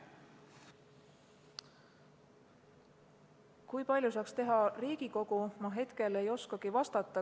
Seda, kui palju saaks teha Riigikogu, ma hetkel ei oskagi vastata.